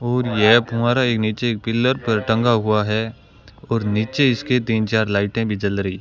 और यह फुहारा एक नीचे एक पिलर पर टंगा हुआ है और नीचे इसके तीन चार लाइटें भी जल रइ।